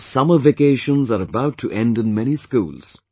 Now summer vacations are about to end in many schools